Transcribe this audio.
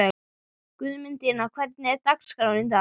Guðmundína, hvernig er dagskráin í dag?